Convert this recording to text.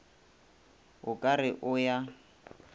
o ka re o ya